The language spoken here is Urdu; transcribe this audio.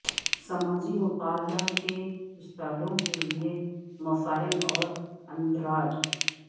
سماجی مطالعہ کے استادوں کے لئے مسائل اور اندراج